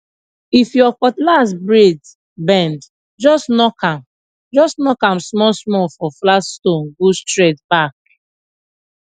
if your cutlass blade bend just knock am just knock am smallsmall for flat stonee go straight back